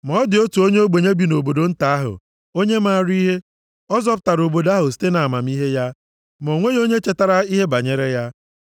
Ma ọ dị otu onye ogbenye bi nʼobodo nta ahụ, onye maara ihe, ọ zọpụtara obodo ahụ site nʼamamihe ya. Ma o nweghị onye chetara ihe banyere ya.